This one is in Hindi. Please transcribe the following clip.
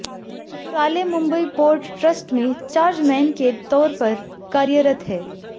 पुराले मुंबई पोर्ट ट्रस्ट में चार्जमैन के तौर पर कार्यरत हैं